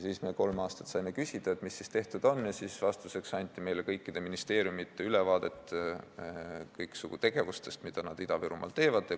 Siis me kolm aastat saime küsida, mis tehtud on, ja vastuseks anti meile kõikide ministeeriumide ülevaated kõiksugu tegevustest, mida nad Ida-Virumaal teevad.